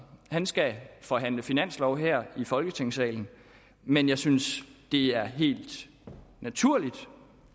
skal forhandle finanslov her i folketingssalen men jeg synes det er helt naturligt